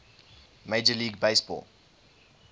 major league baseball